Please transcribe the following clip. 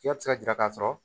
Fiyɛ ti se ka jira k'a sɔrɔ